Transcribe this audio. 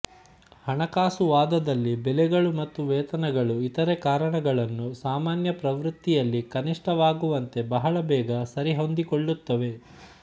ಹಣಕಾಸುವಾದದಲ್ಲಿ ಬೆಲೆಗಳು ಮತ್ತು ವೇತನಗಳು ಇತರೆ ಕಾರಣಗಳನ್ನು ಸಾಮಾನ್ಯ ಪ್ರವೃತ್ತಿಯಲ್ಲಿ ಕನಿಷ್ಠವಾಗುವಂತೆ ಬಹಳ ಬೇಗ ಸರಿಹೊಂದಿಕೊಳ್ಳುತ್ತವೆ